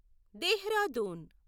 Dehradun